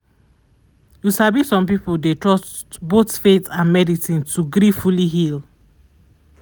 you sabi some people dey trust both faith and medicine to gree fully healed